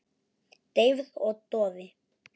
Deyfð og doði.